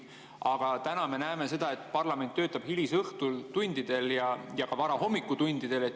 Aga täna me näeme seda, et parlament töötab hilistel õhtutundidel ja ka varastel hommikutundidel.